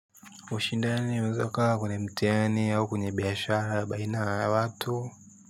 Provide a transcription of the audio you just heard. Ushindani unaeza ukawa kwenye mtihani au kwenye biashara baina ya watu.